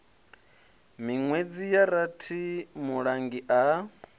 minwedzi ya rathi mulangi a